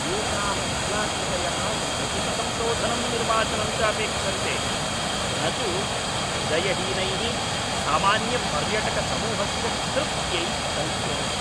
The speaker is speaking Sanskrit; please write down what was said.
एताः कलाकृतयः समुचितसंशोधनं निर्वाचनं च अपेक्षन्ते, न तु हृदयहीनैः सामान्यपर्यटकसमूहस्य तृप्त्यै कल्प्यन्ते।